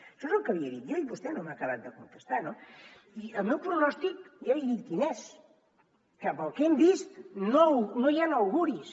això és el que li he dit jo i vostè no m’ha acabat de contestar no i el meu pronòstic ja li he dit quin és que pel que hem vist no hi han auguris